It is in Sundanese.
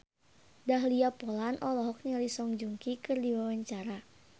Dahlia Poland olohok ningali Song Joong Ki keur diwawancara